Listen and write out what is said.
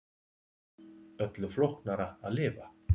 Öllu flóknara að lifa.